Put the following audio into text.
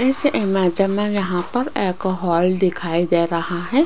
इस इमेज में यहां पर एक हॉल दिखाई दे रहा है